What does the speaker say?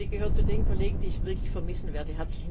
Ihr gehört zu den Kollegen, die ich wirklich vermissen werde.